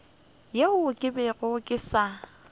yeo ke bego ke sa